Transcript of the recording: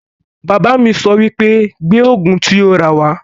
Bàbá mi sọ wípé 'Gbé Ògùn tí o rà wá'